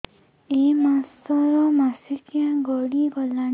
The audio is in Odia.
ଏଇ ମାସ ର ମାସିକିଆ ଗଡି ଗଲାଣି